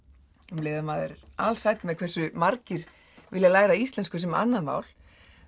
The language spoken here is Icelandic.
um leið og maður alsæll hversu margir vilja læra íslensku sem annað mál